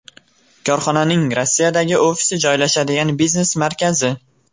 Korxonaning Rossiyadagi ofisi joylashadigan biznes markazi.